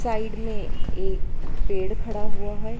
Side में एक पेड़ खड़ा हुआ है।